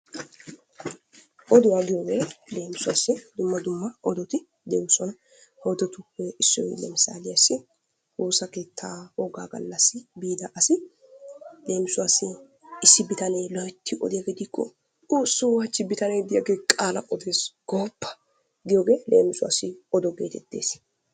Oduwaa giyooge leemissuwassi dumma dumma odoti de'oosona. He odotuppe issoy leemissaliassi woossa keetta wogga galla biida asi, Leemisuwassi issi bitanee loytti odiyaage diiko, Xoosso hachchi bitanee diyaage qaala odees goopa! giyooge leemissuwassi odo getettees.